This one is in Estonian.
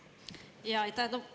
Jaa, aitäh!